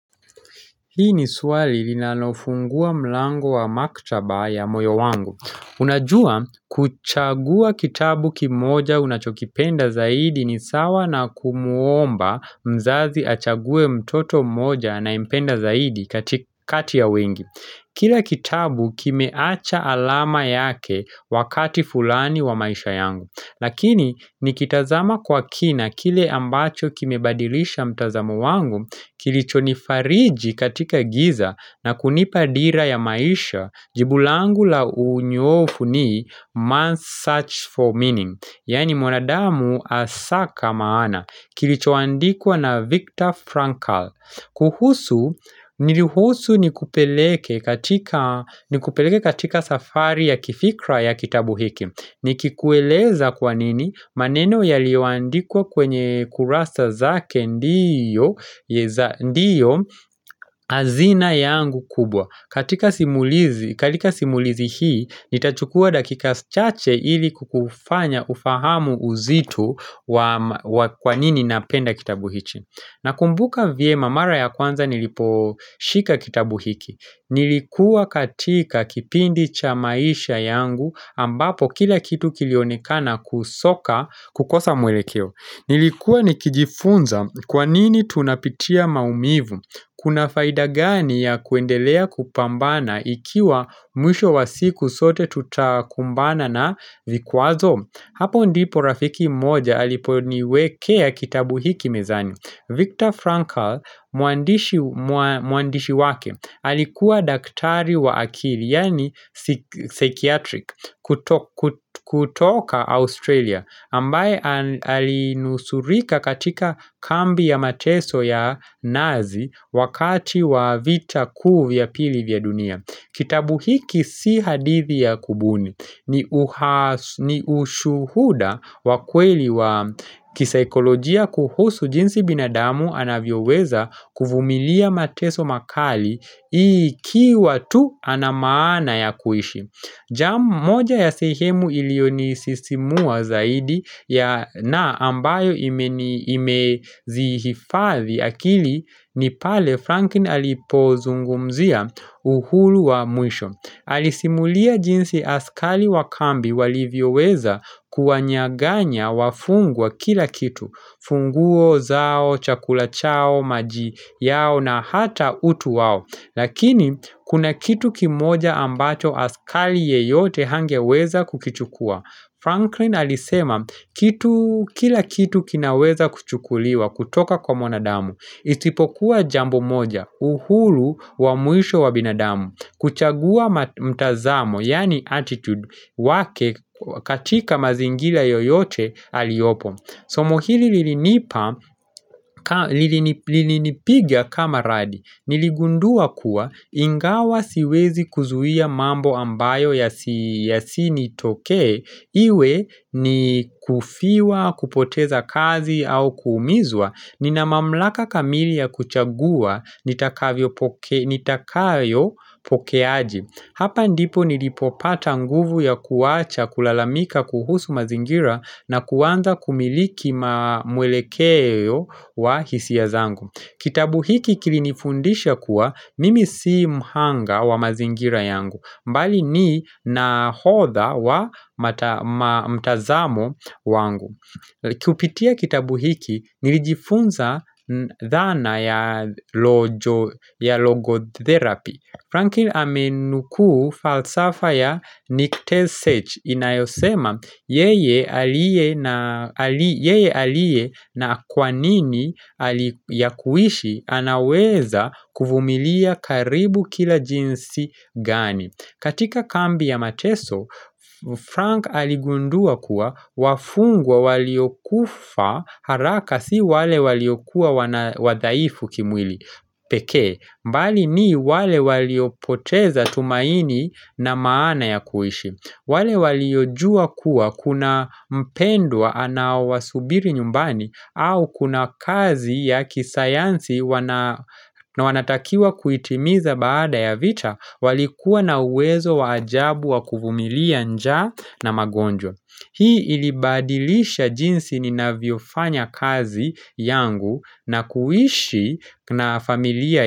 Hii ni swali linalofungua mlango wa maktaba ya moyo wangu. Unajua, kuchagua kitabu kimoja unachokipenda zaidi ni sawa na kumuomba mzazi achague mtoto moja na anayempenda zaidi katika kati ya wengi. Kila kitabu kimeacha alama yake wakati fulani wa maisha yangu. Lakini nikitazama kwa kina kile ambacho kimebadilisha mtazamo wangu kilichonifariji katika giza na kunipa dira ya maisha jibu langu la unyoofu ni Man's Search for Meaning Yani mwanadamu asaka maana kilicho andikwa na Viktor Frankl kuhusu niruhusu nikupeleke katika safari ya kifikra ya kitabu hiki ni kikueleza kwa nini maneno yaliyoandikwa kwenye kurasa zake ndiyo hazina yangu kubwa katika simulizi hii, nitachukua dakika chache ili kukufanya ufahamu uzito wa kwanini napenda kitabu hichi na kumbuka vyema mara ya kwanza nilipo shika kitabu hiki Nilikuwa katika kipindi cha maisha yangu ambapo kila kitu kilionekana kusoka kukosa mwelekeo Nilikuwa nikijifunza kwa nini tunapitia maumivu Kuna faida gani ya kuendelea kupambana ikiwa mwisho wa siku sote tutakumbana na vikwazo Hapo ndipo rafiki moja aliponiwekea kitabu hiki mezani Viktor Frankl mwandishi wake alikuwa daktari wa akili yani psychiatric kutoka Australia ambaye alinusurika katika kambi ya mateso ya nazi wakati wa vita kuu vya pili vya dunia. Kitabu hiki si hadithi ya kubuni ni ushuhuda wa kweli wa kisaikolojia kuhusu jinsi binadamu anavyoweza kuvumilia mateso makali hii ikiwa tu anamaana ya kuishi. Jambo moja ya sehemu iliyonisisimua zaidi na ambayo imezihifadhi akili ni pale Frankin alipozungumzia uhulu wa mwisho. Alisimulia jinsi askali wakambi walivyoweza kuwanyaganya wafungwa kila kitu. Funguo zao, chakula chao, maji yao na hata utu wao. Lakini kuna kitu kimoja ambacho askali yeyote hangeweza kukichukua. Franklin alisema kila kitu kinaweza kuchukuliwa kutoka kwa mwanadamu. Isipokuwa jambo moja uhuru wa mwisho wa binadamu. Kuchagua mtazamo yaani attitude wake katika mazingila yoyote aliyopo. Somo hili lilinipiga kama radi, niligundua kuwa ingawa siwezi kuzuia mambo ambayo ya sinitokee, iwe ni kufiwa, kupoteza kazi au kuumizwa, nina mamlaka kamili ya kuchagua, nitakayo pokeaji. Hapa ndipo nilipopata nguvu ya kuwacha kulalamika kuhusu mazingira na kuanza kumiliki mwelekeo wa hisia zangu. Kitabu hiki kilinifundisha kuwa mimi si mhanga wa mazingira yangu. Mbali ni nahodha wa mtazamo wangu. Kupitia kitabu hiki nilijifunza dhana ya logotherapy. Frankil amenukuu falsafa ya Nictesech inayosema yeye aliye na kwa nini ya kuishi anaweza kuvumilia karibu kila jinsi gani. Katika kambi ya mateso, Frank aligundua kuwa wafungwa waliokufa haraka si wale waliokua wadhaifu kimwili pekee, mbali ni wale waliopoteza tumaini na maana ya kuishi. Wale waliojua kuwa kuna mpendwa anawasubiri nyumbani au kuna kazi ya kisayansi na wanatakiwa kuitimiza baada ya vita walikuwa na uwezo wa ajabu wakuvumilia njaa na magonjwa Hii ilibadilisha jinsi ninavyofanya kazi yangu na kuishi na familia.